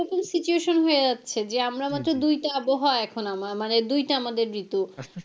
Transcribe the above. situation হয়ে যাচ্ছে যে আমরা মাত্র দুইটা আবহাওয়া এখন আমার মানে দুইটা আমাদের ঋতু।